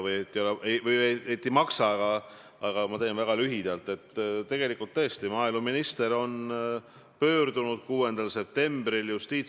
Kui neid tõendeid ei ole, siis küsin ma uuesti, mida peaminister Jüri Ratas teeb sellise siseministriga, kes selliseid väiteid esitab.